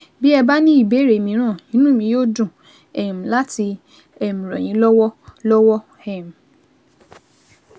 Bí ẹ bá ní ìbéèrè mìíràn, inú mi yóò dùn um láti um ràn yín lọ́wọ́ lọ́wọ́ um